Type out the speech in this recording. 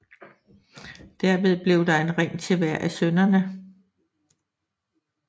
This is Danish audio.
Derved blev der en ring til hver af sønnerne